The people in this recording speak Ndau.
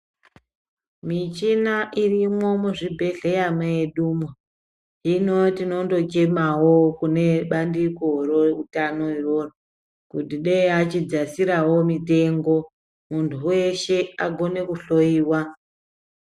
Michina irimwo muzvibhedhleya medu umu hino tinondochemawo kunebandiko reutano iroro kuti dei achidzasirawo mutengo muntu weshe agone kuhloyiwa.